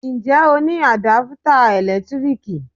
Ǹjẹ́ o ní Àdápútà ẹ̀lẹ́tíríkì?